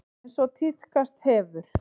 Eins og tíðkast hefur.